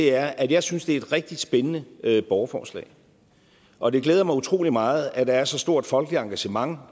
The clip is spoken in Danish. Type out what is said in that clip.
er at jeg synes det er et rigtig spændende borgerforslag og det glæder mig utrolig meget at der er så stort et folkeligt engagement